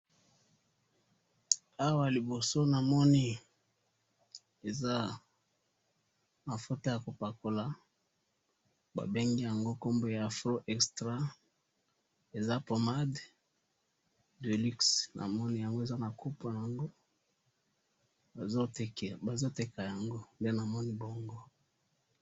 Na moni pommade ya ko pakola, bazo teka yango.